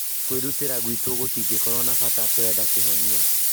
Kwĩrutĩra gwitũ gũtigũkorwo na bata, turenda kĩhonia kĩega